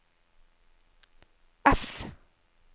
F